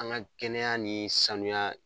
An ka kɛnɛya ni sanuya